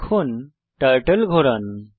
এখন টার্টল ঘোরান